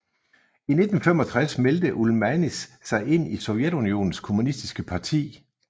I 1965 meldte Ulmanis sig ind i Sovjetunionens kommunistiske parti